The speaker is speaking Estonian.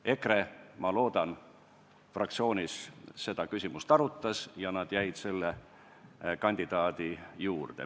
EKRE, ma loodan, fraktsioonis seda küsimust arutas, ja nad jäid selle kandidaadi juurde.